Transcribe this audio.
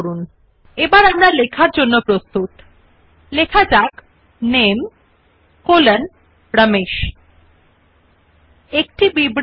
একই ভাবে সংখ্যায়ন বিকল্প সংখ্যায়ন নির্বাচন এবং প্রতি লাইনে একটি নতুন সংখ্যা দিয়ে শুরু করা হবে করা হয় numbering is done in the same way by selecting the numbering option and every line will start with a new number